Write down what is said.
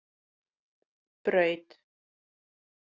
Braut